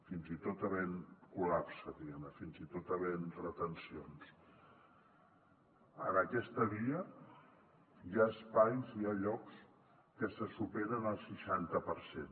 fins i tot havent hi col·lapse diguem ne fins i tot havent hi retencions en aquesta via hi ha espais hi ha llocs en que se supera el seixanta per cent